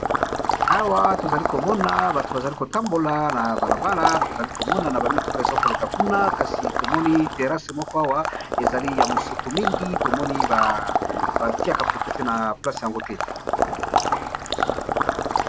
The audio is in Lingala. awa tozali komona bato bazali kotambola na balabala tozali komona na bamituka eza koleka kuna kasi tomoni terasse moko awa ezali ya mosoto mingi tomoni batiaka proprete na place yango te